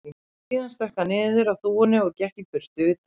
Síðan stökk hann niður af þúfunni og gekk í burtu, utan vegar.